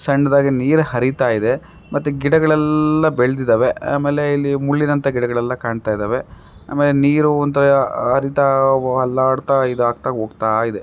ಸಣ್ಣದಾಗಿ ನೀರು ಅರಿತ ಇದ್ದೆ ಮತ್ತೆ ಗಿಡಗಳೆಲ್ಲ ಬೆಳೆದಿದ್ದಾವೆ ಆಮೇಲೆ ಇಲ್ಲಿ ಮುಳ್ಳಿನಂತ ಗಿಡಗಳೆಲ್ಲ ಕಾಣ್ತಾ ಇದ್ದಾವೆ ಆಮೇಲೆ ನೀರು ಒಂತರ ಹರಿತ ಅಲ್ಲಾಡ್ತಾ ಇದಾಗ್ತಾ ಹೋಗ್ತಾ ಇದೆ.